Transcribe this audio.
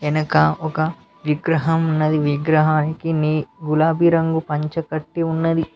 వెనక ఒక విగ్రహం ఉన్నది విగ్రహానికి నీ గులాబీ రంగు పంచ కట్టి ఉన్నది.